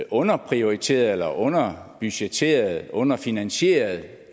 underprioriteret eller underbudgetteret underfinansieret